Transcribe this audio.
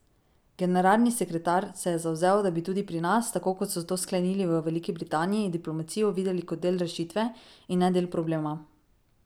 Generalni sekretar se je zavzel, da bi tudi pri nas, tako kot so to sklenili v Veliki Britaniji, diplomacijo videli kot del rešitve in ne del problema.